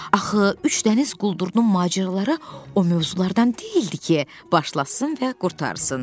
Axı üç dəniz quldurunun macəraları o mövzulardan deyildi ki, başlasın və qurtarsın.